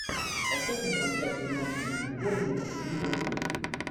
поставь мне трансляцию матча между борнмутом и ливерпулем